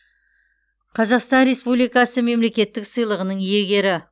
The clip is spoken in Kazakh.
қазақстан республикасы мемлекеттік сыйлығының иегері